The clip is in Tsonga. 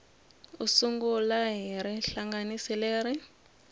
u sungula hi rihlanganisi leri